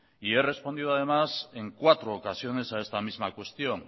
y he respondido además en cuatro ocasiones a esta misma cuestión